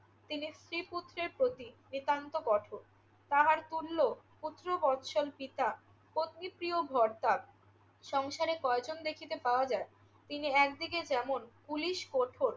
তিনি স্ত্রী-পুত্রের প্রতি নিতান্ত কঠোর। তাহার তুল্য পুত্র বৎসল পিতা, পত্নীপ্রিয় ভরদ্বাজ সংসারে কয়জন ব্যক্তিকে পাওয়া যায়? তিনি একদিকে যেমন পুলিশ কঠোর